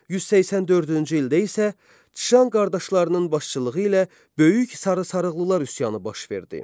184-cü ildə isə Çşan qardaşlarının başçılığı ilə böyük "Sarı sarıqlılar" üsyanı baş verdi.